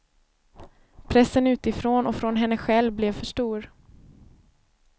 Pressen utifrån och från henne själv blev för stor.